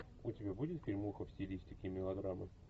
у тебя будет фильмуха в стилистике мелодрама